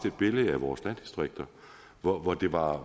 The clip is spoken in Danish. et billede af vores landdistrikter hvor hvor det var